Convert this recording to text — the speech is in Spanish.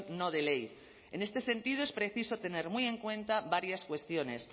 no de ley en este sentido es preciso tener muy en cuenta varias cuestiones